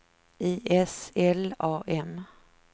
I S L A M